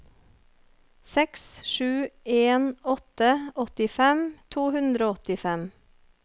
seks sju en åtte åttifem to hundre og åttifem